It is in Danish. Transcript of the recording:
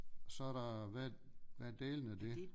Så er der hvad hvad dælen er det